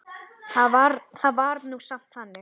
Það var nú samt þannig.